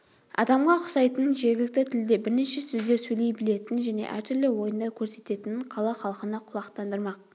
адамға ұқсайтынын жергілікті тілде бірнеше сөздер сөйлей білетінін және әртүрлі ойындар көрсететінін қала халқына құлақтандырмақ